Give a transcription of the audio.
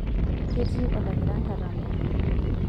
ketii olakira nkatambo